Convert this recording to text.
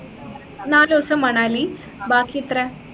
നാല് ദിവസം മണാലി ബാക്കി എത്ര